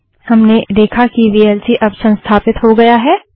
हमने देखा कि वीएलसी अब संस्थापित हो गया है